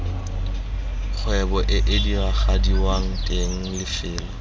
kgwebo ee diragadiwang teng lefelo